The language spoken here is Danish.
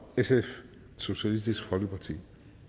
socialistisk folkeparti